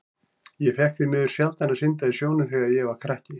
Ég fékk því miður sjaldan að synda í sjónum þegar ég var krakki.